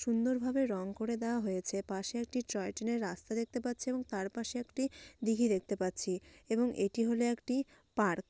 সুন্দরভাবে রং করে দেওয়া হয়েছে। পাশে একটি ট্রয় ট্রেন -এর রাস্তা দেখতে পাচ্ছে | এবং তার পাশে একটি দীঘি দেখতে পাচ্ছি | এবং এটি হলো একটি পার্ক ।